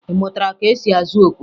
Ị mụtara ka esi azụ okwe?